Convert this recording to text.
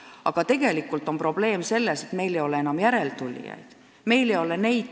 Aga probleem on selles, et meil ei ole enam järeltulijaid.